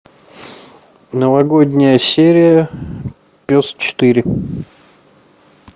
новогодняя серия пес четыре